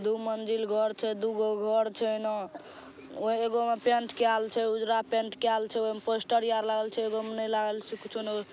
दु मंजिल घोर छई। दु गो घोर छई एना। एगो मे पेंट कयाल छई उजला पेंट कयाल छई। ओमे पोस्टर आर लगल छई। एगो मे नए लागल छई कुछों।